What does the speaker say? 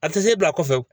A tɛ se e bila kɔfɛ